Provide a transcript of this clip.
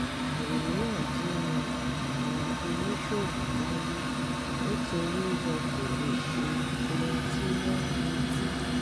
àríyànjiyàn àwọn oníṣòwò wáyé nítorí wọn kò lè ṣe ohun tí wọ́n retí